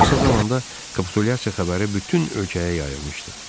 Qısa zamanda kapitulyasiya xəbəri bütün ölkəyə yayılmışdı.